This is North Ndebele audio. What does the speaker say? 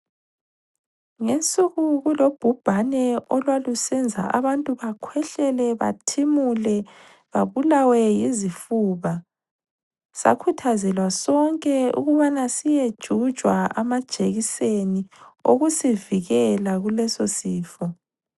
Ngensuku kulobhubhane olwalusenza abantu bakhwehlele bathimule babulawe yizifuba, sakhuthazelwa sonke ukuthi siyejujwa amajekiswni okusivikela kuleso sifo.